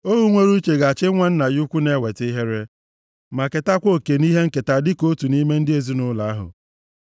Ohu nwere uche ga-achị nwa nna ya ukwu na-eweta ihere ma ketakwa oke nʼihe nketa dịka otu nʼime ndị ezinaụlọ ahụ.